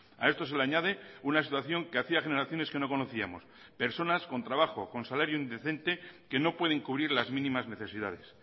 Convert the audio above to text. a esto se le añade una situación que hacía generaciones que no conocíamos personas con trabajo con salario indecente que no pueden cubrir las mínimas necesidades